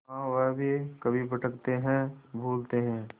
हाँ वह भी कभी भटकते हैं भूलते हैं